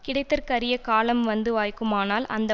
கிடைத்தற்கறிய காலம் வந்து வாய்க்குமானால் அந்த